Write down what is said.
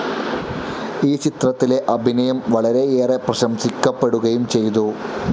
ഈ ചിത്രത്തിലെ അഭിനയം വളരെയേറെ പ്രശംസിക്കപ്പെടുകയും ചെയ്തു.